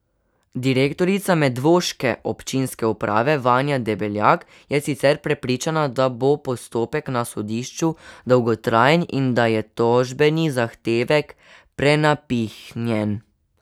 Direktorica medvoške občinske uprave Vanja Debeljak je sicer prepričana, da bo postopek na sodišču dolgotrajen in da je tožbeni zahtevek prenapihnjen.